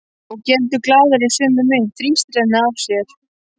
Og geldur glaður í sömu mynt, þrýstir henni að sér.